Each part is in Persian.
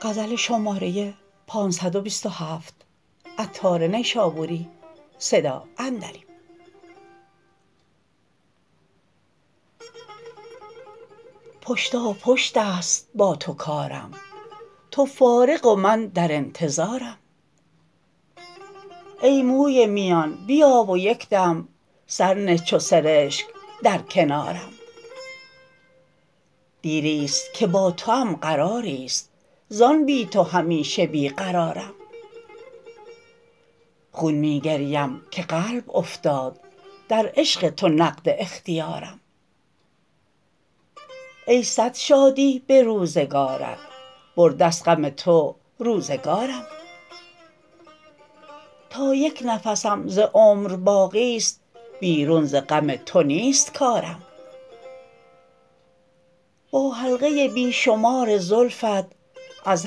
پشتا پشت است با تو کارم تو فارغ و من در انتظارم ای موی میان بیا و یکدم سر نه چو سرشک در کنارم دیری است که با توام قراری است زان بی تو همیشه بی قرارم خون می گریم که قلب افتاد در عشق تو نقد اختیارم ای صد شادی به روزگارت برده است غم تو روزگارم تا یک نفسم ز عمر باقی است بیرون ز غم تو نیست کارم با حلقه بی شمار زلفت از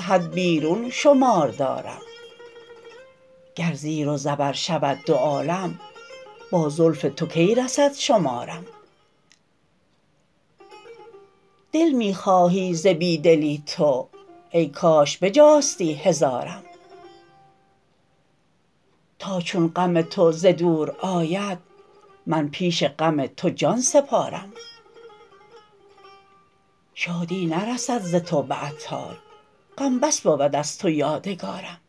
حد بیرون شمار دارم گر زیر و زبر شود دو عالم با زلف تو کی رسد شمارم دل می خواهی ز بی دلی تو ای کاش بجاستی هزارم تا چون غم تو ز دور آید من پیش غم تو جان سپارم شادی نرسد ز تو به عطار غم بس بود از تو یادگارم